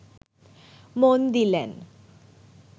মন দিলেন